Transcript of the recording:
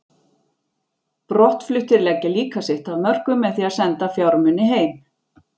Brottfluttir leggja líka sitt af mörkum með því að senda fjármuni heim.